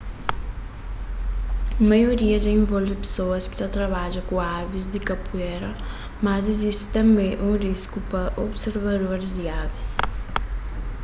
maioria dja involve pesoas ki ta trabadja ku avis di kapuera mas izisti tanbê algun risku pa observadoris di avis